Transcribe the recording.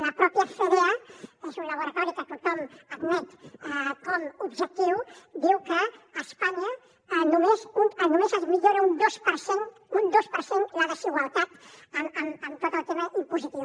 la pròpia fedea és un laboratori que tothom admet com objectiu diu que a espanya només es millora un dos per cent un dos per cent la desigualtat amb tot el tema impositiu